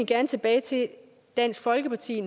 gerne tilbage til dansk folkeparti